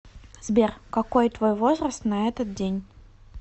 сбер какой твой возраст на этот день